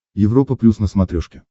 европа плюс на смотрешке